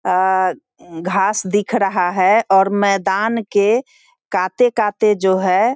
अ घास दिख रहा है और मैदान के काते काते जो है --